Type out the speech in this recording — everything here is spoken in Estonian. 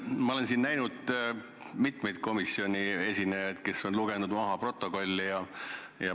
Ma olen siin näinud mitmeid komisjoni esinejaid, kes on protokolli maha lugenud.